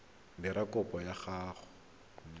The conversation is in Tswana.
dira kopo ya go nna